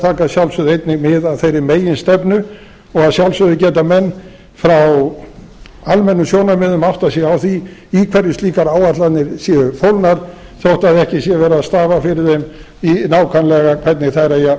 að sjálfsögðu einnig mið af þeirri meginstefnu og að sjálfsögðu geta menn frá almennum sjónarmiðum áttað sig á því í hverju slíkar áætlanir séu fólgnar þótt ekki sé verið að stafa fyrir þeim nákvæmlega hvernig þær eigi að